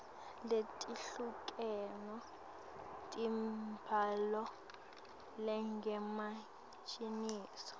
letehlukene tembhalo lengemaciniso